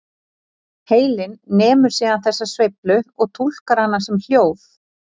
Heilinn nemur síðan þessa sveiflu og túlkar hana sem hljóð.